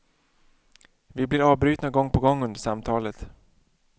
Vi blir avbrytna gång på gång under samtalet.